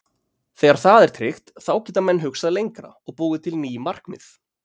Þegar það er tryggt þá geta menn hugsað lengra og búið til ný markmið.